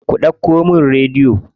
Ku ɗauko min rediyo.